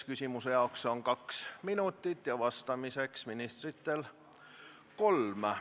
Küsimuse jaoks on aega kaks minutit ja ministritel vastamiseks kolm.